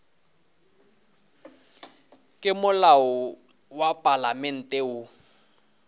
ke molao wa palamente wo